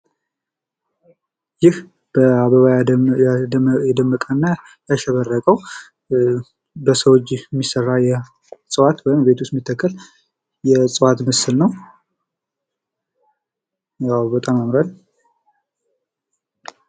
ይህ በአበባ የደመቀ እና ያሸበረቀው በሰው እጅ ሚሰራ እፅዋት ወይም ቤት ውስጥ ሚተከል የእፅዋት ምስል ነው ። ያው በጣም ያምራል ።